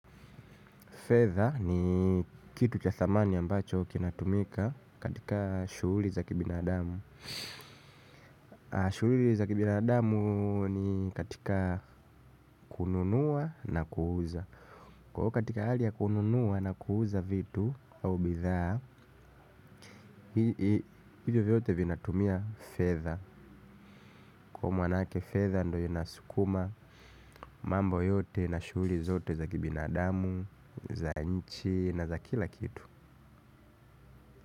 Fedha ni kitu cha thamani ambacho kinatumika katika shughuli za kibinadamu. Shughuli za kibinadamu ni katika kununua na kuuza. Kuwa katika hali ya kununua na kuuza vitu au bidhaa, hivyo vyote vinatumia fedha. Kwa manake fedha ndo inaskuma mambo yote na shughuli zote za kibinadamu, za nchi na za kila kitu.